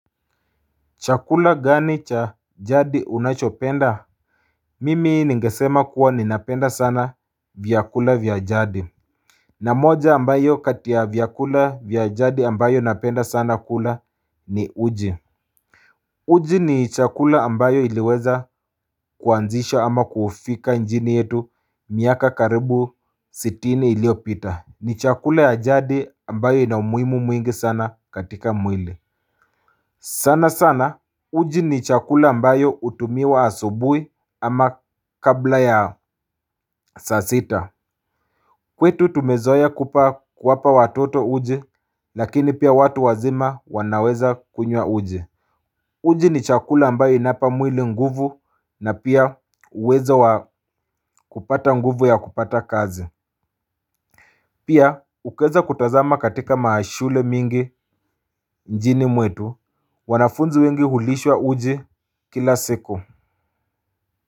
Chakula gani cha jadi unachopenda? Mimi ningesema kuwa ni napenda sana vyakula vyajadi. Na moja ambayo katia vyakula vyajadi ambayo napenda sana kula ni uji. Uji ni chakula ambayo iliweza kuanzisha ama kufika njini yetu miaka karibu sitini iliopita. Ni chakula ya jadi ambayo inamuimu mwingi sana katika mwile. Sana sana. Uji ni chakula mbayo utumiwa asubui ama kabla ya saasita. Kwetu tumezoea kupaa kuwapa watoto uji lakini pia watu wazima wanaweza kunywa uji. Uji ni chakula mbayo inawapa mwili nguvu na pia uwezo kupata nguvu ya kupata kazi. Pia ukiweza kutazama katika mashule mingi mjini mwetu wanafunzi wengi hulishwa uji kila siku.